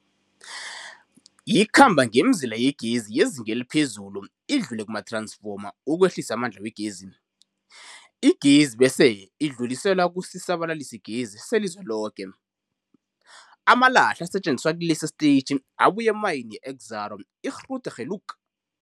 Ikhamba ngemizila yegezi yezinga eliphezulu idlule kumath-ransfoma ukwehlisa amandla wegezi. Igezi bese idluliselwa kusisa-balalisigezi selizweloke. Amalahle asetjenziswa kilesi sitetjhi abuya emayini ye-Exxaro's Grootegeluk .